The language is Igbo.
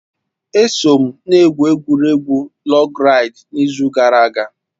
Eso m n'egwuregwu lọg raịd n'izu gara aga